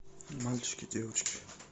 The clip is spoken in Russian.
мальчики девочки